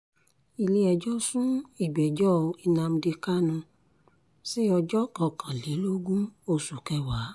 ilé-ẹjọ́ sún ìgbẹ́jọ́ nnamdi kanu sí ọjọ́ kọkànlélógún oṣù kẹwàá